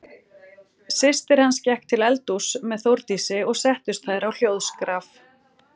Systir hans gekk til eldhúss með Þórdísi og settust þær á hljóðskraf.